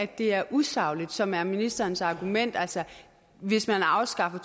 det er usagligt som er ministerens argument at hvis man afskaffer